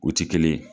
O ti kelen ye